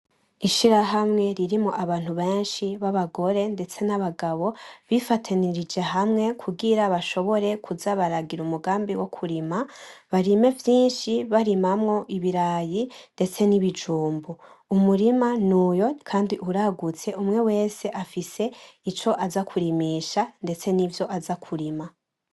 Ishiramwe ririmwo abantu benshi babagore ndetse n'abagabo bifatanirije hamwe kugira bashobore kuza baragira umugambi wo kurima barime vyinshi barimamwo ibirayi ndetse n'ibijumbu umurima nuyo kandi uragutse umwe wese afise ico azakurimisha ndetse nivyo aza kurima.